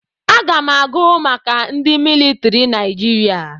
Aga m agụ maka ndị militiri Naijiria.